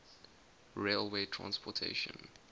railway transportation